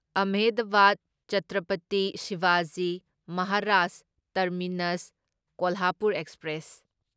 Ahmedabad Chhatrapati Shivaji Maharaj terminus Kolhapur express